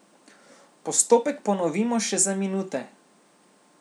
Postopek ponovimo še za minute.